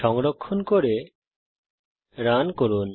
সংরক্ষণ করে রান করুন